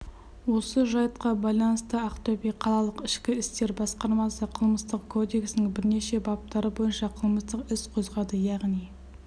осы жайтқа байланыстыақтөбе қалалық ішкі істер басқармасы қылмыстық кодексінің бірнеше баптары бойынша қылмыстық іс қозғады яғни